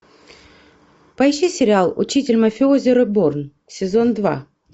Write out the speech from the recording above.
поищи сериал учитель мафиози реборн сезон два